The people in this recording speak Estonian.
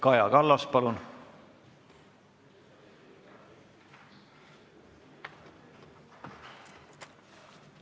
Kaja Kallas, palun!